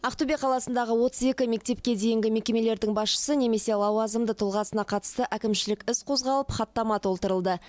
ақтөбе қаласындағы отыз екі мектепке дейінгі мекемелердің басшысы немесе лауазымды тұлғасына қатысты әкімшілік іс қозғалып хаттама толтырылды